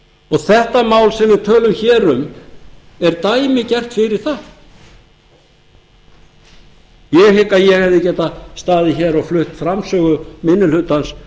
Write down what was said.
þarf þetta mál sem við tölum hér um er dæmigert fyrir það ég hygg að ég hefði getað staðið hér og flutt framsögu minni hlutans